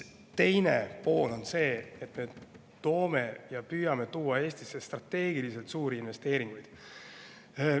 Teine pool on see, et me püüame tuua ja toome Eestisse strateegilisi ja suuri investeeringuid.